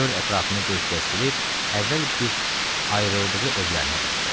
Dörd ətrafına göz gəzdirib əvvəl bir ayrıldığı evlərinə baxdı.